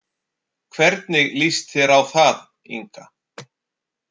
Hvernig líst þér á það, Inga?